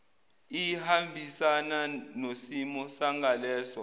iyahambisana nosimo sangaleso